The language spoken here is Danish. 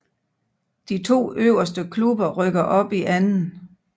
De to øverste klubber rykker op i 2